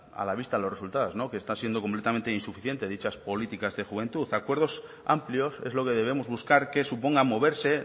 a la vista de los resultados que están siendo completamente insuficientes dichas políticas de juventud acuerdos amplios es lo que debemos buscar que suponga moverse